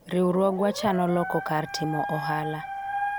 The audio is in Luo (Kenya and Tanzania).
riwruogwa chano loko kar timo ohala